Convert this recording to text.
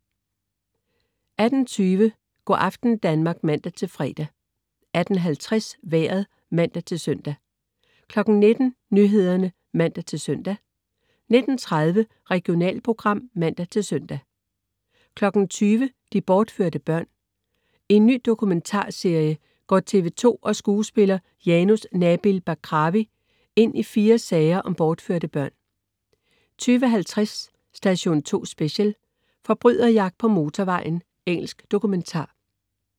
18.20 Go' aften Danmark (man-fre) 18.50 Vejret (man-søn) 19.00 Nyhederne (man-søn) 19.30 Regionalprogram (man-søn) 20.00 De bortførte børn. I en ny dokumentarserie går TV 2 og skuespiller Janus Nabil Bakrawi ind i fire sager om bortførte børn 20.50 Station 2 Special: Forbryderjagt på motorvejen. Engelsk dokumentar